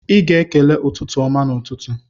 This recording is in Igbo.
Ị ga-ekele "ụtụtụ ọma" n'ụtụtụ.